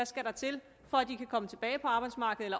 skal til for at de kan komme tilbage på arbejdsmarkedet